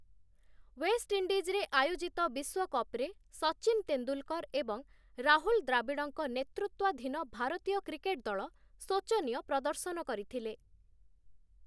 ୱେଷ୍ଟ୍‌ଇଣ୍ଡିଜ୍‌ରେ ଆୟୋଜିତ ବିଶ୍ୱକପ୍‌ରେ ସଚିନ୍ ତେନ୍ଦୁଲ୍‌କର୍‌ ଏବଂ ରାହୁଲ୍‌ ଦ୍ରାବିଡ଼ଙ୍କ ନେତୃତ୍ୱାଧୀନ ଭାରତୀୟ କ୍ରିକେଟ୍ ଦଳ, ଶୋଚନୀୟ ପ୍ରଦର୍ଶନ କରିଥିଲେ ।